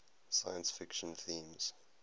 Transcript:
science fiction themes